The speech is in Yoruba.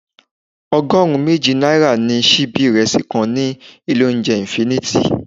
Ọgọrun méjì náírà ni síbí ìrẹsì kan ní ilé oúnjẹ infinity.